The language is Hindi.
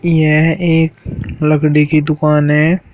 यह एक लकड़ी की दुकान है।